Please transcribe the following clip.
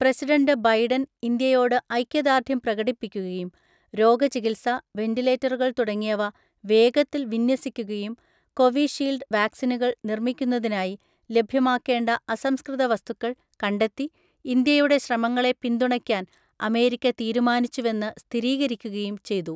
President Biden ഇന്ത്യയോട് ഐക്യദാർഢ്യം പ്രകടിപ്പിക്കുകയും രോഗചികിൽസ, വെന്റിലേറ്ററുകൾ തുടങ്ങിയവ വേഗത്തിൽ വിന്യസിക്കുകയും കോവിഷീൽഡ് വാക്സിനുകൾ നിർമ്മിക്കുന്നതിനായി ലഭ്യമാക്കേണ്ട അസംസ്കൃത വസ്തുക്കൾ കണ്ടെത്തി ഇന്ത്യയുടെ ശ്രമങ്ങളെ പിന്തുണയ്ക്കാൻ അമേരിക്ക തീരുമാനിച്ചുവെന്ന് സ്ഥിരീകരിക്കുകയും ചെയ്തു.